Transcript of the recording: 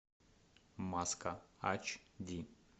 маска ач ди